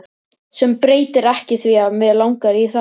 Sem breytir ekki því að mig langar í það.